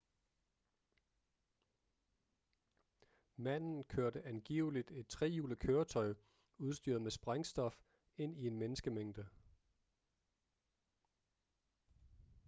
manden kørte angiveligt et trehjulet køretøj udstyret med sprængstof ind i en menneskemængde